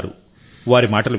వారి మాటలు విందాం